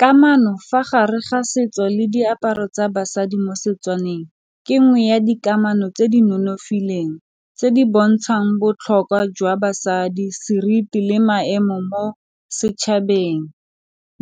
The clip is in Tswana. Kamano fa gare ga setso le diaparo tsa basadi mo Setswaneng ke nngwe ya dikamano tse di nonofileng tse di bontshang botlhokwa jwa basadi, seriti le maemo mo setšhabeng